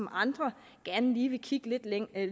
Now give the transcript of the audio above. andre gerne lige kigge